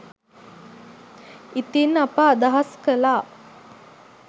ඉතින් අප අදහස් කළා